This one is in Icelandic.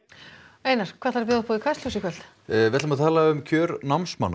einar Kastljósið ætlum að tala um kjör námsmanna